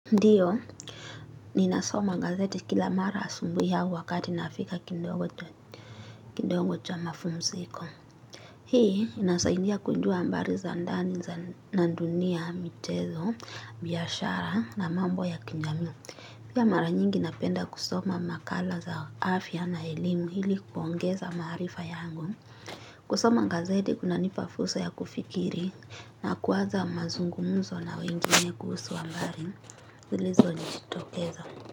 Ndiyo, ninasoma gazeti kila mara asubuhi ya wakati nafika kidogo cha mapumziko. Hii, inasaidia kujua habari za ndani za na dunia, michezo, biashara na mambo ya kijamii. Pia mara nyingi napenda kusoma makala za afya na elimu ili kuongeza maarifa yangu. Kusoma gazeti kunanipa fursa ya kufikiri, na kuwaza mazungumzo na wengine kuhusu habari zilizo jitokeza.